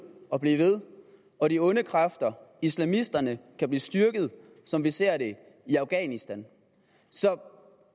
og blive ved og de onde kræfter islamisterne kan blive styrket som vi ser det i afghanistan så